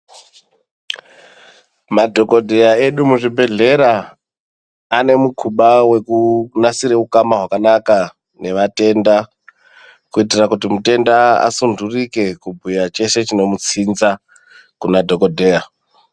Madhokodheya edu muzvibhehlera ane mukuba wekunasira ukana hwakanaka nevatenda kuitira kuti mutenda asundwurike kubhuya cheshe chinomutsinza kunadhokodheya.